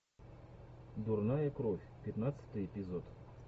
дурная кровь пятнадцатый эпизод